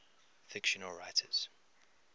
fictional writers